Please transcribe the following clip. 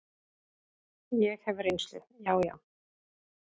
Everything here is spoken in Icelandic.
Ég hef reynslu, já, já.